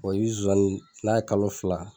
i bɛ zonzannin n'a ye kalo fila